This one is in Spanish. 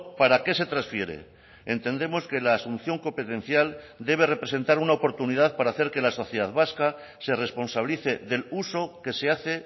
para qué se transfiere entendemos que la asunción competencial debe representar una oportunidad para hacer que la sociedad vasca se responsabilice del uso que se hace